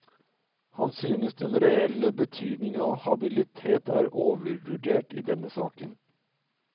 Han synes den reelle betydningen av habilitet er overvurdert i denne saken.